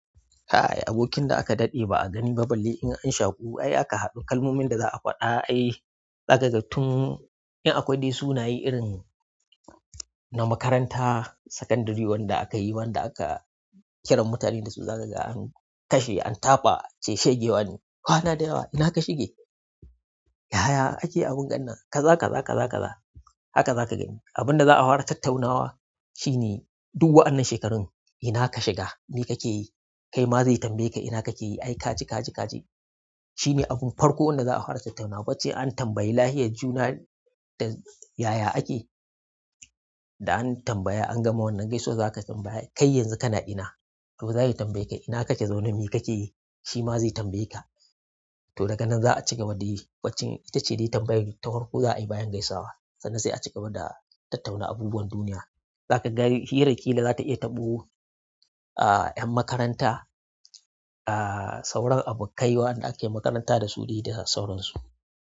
Ai abokin da aka daɗe ba'a gani ba balle in an shaƙu. Ai aka haɗu kalmomin da za'a faɗa ai. Zakaga tun, in akwai dai sunaye irin na makaranta sakandare wanda aka yi wanda aka kiran mutanen dasu zakaga an kashe an taɓa ance shege wane. Kwana da yawa ina ka shige? Yaya ake abun gan nan. Ka za ka za ka za ka za haka za ka gani. Abin da za a fara tattaunawa shine duk wannan shekarun ina ka shiga me kake yi? Kai ma zai tambaye ka ina kake yi? Ai kaji kaji kaji, shi ne abin farko wanda za'afara tattaunawa ban cin a tambayi lafiyar juna da yaya ake da an tambaya an gama wannan gaisuwa za ka tambaya kai yanzu kana ina? To zai tambaye ka ina kake zaune me kake yi? Shi ma zai tambaye ka. To daga nan za a cigaba da yi bancin ita ce dai tambayar ta farko za a yi bayan gaisawa. Sannan sai a cigaba da tattauna abubuwan duniya. Zakaga hiran zata iya taɓo ƴan ah ƴan makaranta ah sauran abokai dai wanda ake makaranta dasu dai da sauransu.